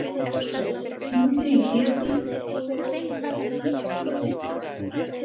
Rósey, hringdu í Hlédísi eftir sjötíu og eina mínútur.